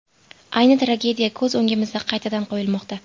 Ayni tragediya ko‘z o‘ngimizda qaytadan qo‘yilmoqda.